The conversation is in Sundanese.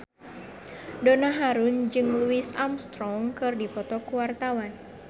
Donna Harun jeung Louis Armstrong keur dipoto ku wartawan